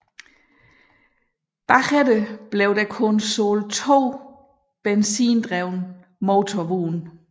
Det følgende blev der kun solgt to benzindrevne motorvogne